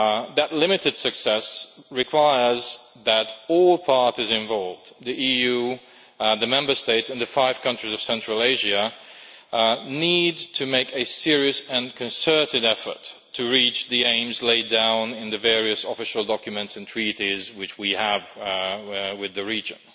That limited success requires that all parties involved the EU, the Member States and the five countries of Central Asia need to make a serious and concerted effort to reach the aims laid down in the various official documents and treaties which we have with the region.